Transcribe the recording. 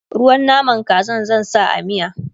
ruwan naman Kazan zan sa a miya